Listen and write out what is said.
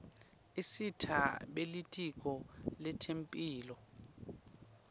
isita belitiko letemphilo